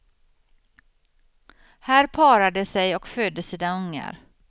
Här parar de sig och föder sina ungar.